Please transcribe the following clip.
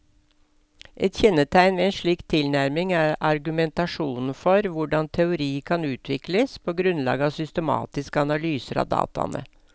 Et kjennetegn ved en slik tilnærming er argumentasjonen for hvordan teori kan utvikles på grunnlag av systematiske analyser av dataene.